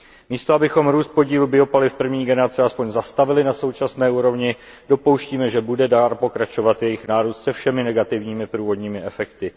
Místo abychom růst podílu biopaliv první generace aspoň zastavili na současné úrovni, dopouštíme, že bude dál pokračovat jejich nárůst se všemi negativními průvodními efekty.